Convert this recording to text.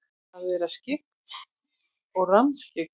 Að vera skyggn og rammskyggn?